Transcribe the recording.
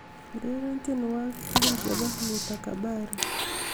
ureren tienwogik tugul chebo luta kabari